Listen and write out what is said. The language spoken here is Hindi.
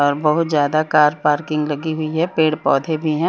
और बहुत ज्यादा कार पार्किंग लगी हुई है पेड़ पौधे भी है।